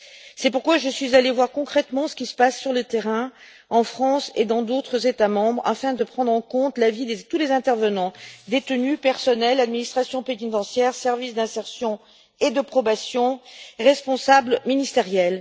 C'est pourquoi je suis allée voir concrètement ce qui se passe sur le terrain, en France et dans d'autres États membres, afin de prendre en compte l'avis de tous les intervenants détenus, personnel, administration pénitentiaire, services d'insertion et de probation, responsables ministériels.